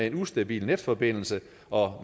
en ustabil netforbindelse og